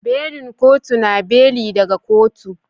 Belin kotu na beli daga kotu.